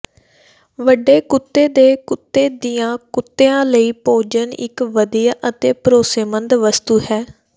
ਵੱਡੇ ਕੁੱਤੇ ਦੇ ਕੁੱਤੇ ਦੀਆਂ ਕੁੱਤਿਆਂ ਲਈ ਭੋਜਨ ਇੱਕ ਵਧੀਆ ਅਤੇ ਭਰੋਸੇਮੰਦ ਵਸਤੂ ਹੈ